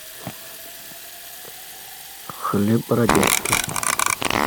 хлеб бородинский